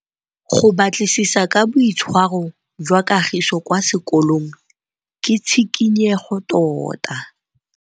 Go batlisisa ka boitshwaro jwa Kagiso kwa sekolong ke tshikinyêgô tota.